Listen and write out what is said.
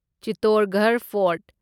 Chittorgarh fort